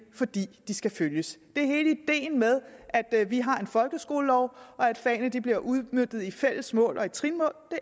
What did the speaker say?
fordi de skal følges hele ideen med at vi har en folkeskolelov og at fagene bliver udmøntet i fælles mål og i trinmål